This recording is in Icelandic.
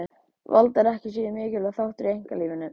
Vald er ekki síður mikilvægur þáttur í einkalífinu.